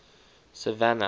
savannah